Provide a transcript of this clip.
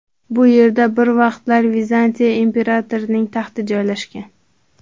Bu yerda bir vaqtlar Vizantiya imperatorining taxti joylashgan.